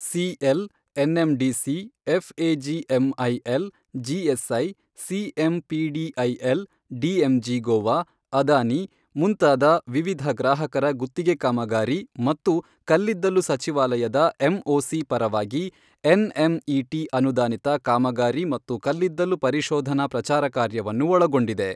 CL, NMDC, FAGMIL, GSI, CMPDIL, DMG Goa, Adani ಮುಂತಾದ ವಿವಿಧ ಗ್ರಾಹಕರ ಗುತ್ತಿಗೆ ಕಾಮಗಾರಿ ಮತ್ತು ಕಲ್ಲಿದ್ದಲು ಸಚಿವಾಲಯದ ಎಂಒಸಿ ಪರವಾಗಿ ಎನ್ಎಂಇಟಿ ಅನುದಾನಿತ ಕಾಮಗಾರಿ ಮತ್ತು ಕಲ್ಲಿದ್ದಲು ಪರಿಶೋಧನಾ ಪ್ರಚಾರ ಕಾರ್ಯವನ್ನು ಒಳಗೊಂಡಿದೆ.